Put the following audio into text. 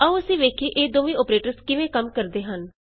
ਆਉ ਅਸੀਂ ਵੇਖੀਏ ਇਹ ਦੋਵੇਂ ਅੋਪਰੇਟਰਸ ਕਿਵੇਂ ਕੰਮ ਕਰਦਾ ਹੈ